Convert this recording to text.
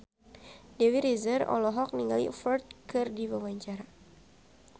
Dewi Rezer olohok ningali Ferdge keur diwawancara